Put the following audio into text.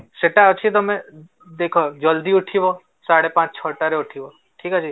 ସେଟା ଅଛି ତମେ ଦେଖ ଜଲଦି ଉଠିବ ସାଢେ ପାଞ୍ଚ ଛଅ ଟା ରେ ଉଠିବ ଠିକ ଅଛି